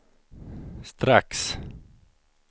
strax